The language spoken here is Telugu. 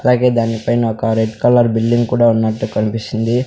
అలాగే దాని పైన రెడ్ కలర్ బిల్డింగ్ కూడా ఉన్నట్టు కన్పిస్తుంది.